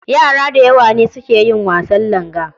Yara da yawa ne su ke yin wasan langa.